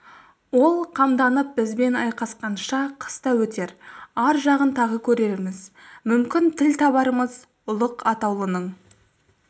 ол қамданып бізбен айқасқанша қыс та өтер ар жағын тағы көрерміз мүмкін тіл табармыз ұлық атаулының